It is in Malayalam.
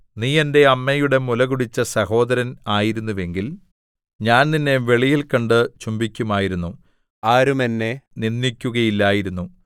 നീ എന്റെ അമ്മയുടെ മുലകുടിച്ച സഹോദരൻ ആയിരുന്നുവെങ്കിൽ ഞാൻ നിന്നെ വെളിയിൽ കണ്ട് ചുംബിക്കുമായിരുന്നു ആരും എന്നെ നിന്ദിക്കുകയില്ലായിരുന്നു